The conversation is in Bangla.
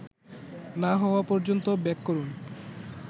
না হওয়া পর্যন্ত বেক করুন